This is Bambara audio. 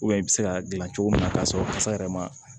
i bɛ se ka dilan cogo min na k'a sɔrɔ kasa yɛrɛ ma